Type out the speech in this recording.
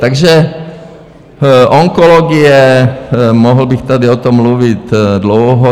Takže onkologie, mohl bych tady o tom mluvit dlouho.